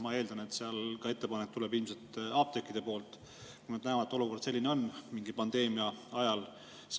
Ma eeldan, et ettepanek tuleb ilmselt apteekide poolt, kui nad näevad, et olukord on mingi pandeemia ajal raske.